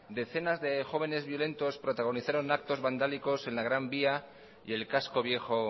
decenas de jóvenes violentos protagonizaron actos vandálicos en la gran vía y el casco viejo